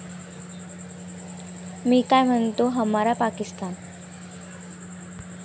मिका म्हणतो, 'हमारा पाकिस्तान'